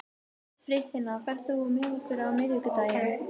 Friðfinna, ferð þú með okkur á miðvikudaginn?